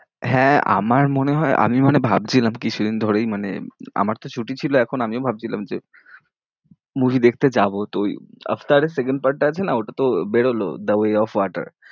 হ্যাঁ, আমার মনে হয়, আমি মানে ভাবছিলাম কিছুদিন ধরেই মানে আমার তো ছুটি ছিল এখন, আমিও ভাবছিলাম যে movie দেখতে যাবো, তো ওই আফতারে second part টা আছে না, তো বেরোলো the way of water